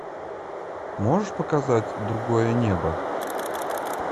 можешь показать другое небо